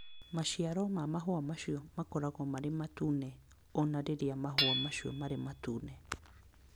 Maciaro ma mahũa macio makoragwo marĩ matune o na rĩrĩa mahũa macio marĩ matune.